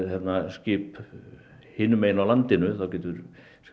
skip hinum megin á landinu þá getur